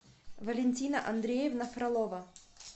валентина андреевна фролова